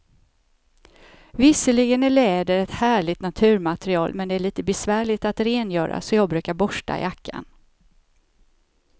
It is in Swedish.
Visserligen är läder ett härligt naturmaterial, men det är lite besvärligt att rengöra, så jag brukar borsta jackan.